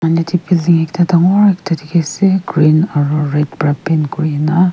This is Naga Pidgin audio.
yate ekta building dangor ekta dikhi ase green aro red pra paint kure na.